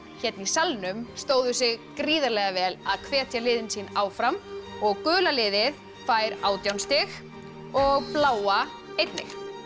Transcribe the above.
hérna í salnum stóðu sig gríðarlega vel að hvetja liðin sín áfram gula liðið fær átján stig og bláa einnig